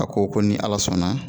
A ko ko ni Ala sɔnna